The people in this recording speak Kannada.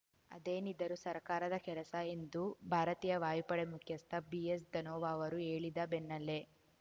ಅದೇನಿದ್ದರೂ ಸರ್ಕಾರದ ಕೆಲಸ ಎಂದು ಭಾರತೀಯ ವಾಯುಪಡೆ ಮುಖ್ಯಸ್ಥ ಬಿಎಸ್‌ ಧನೋವಾ ಅವರು ಹೇಳಿದ ಬೆನ್ನಲ್ಲೇ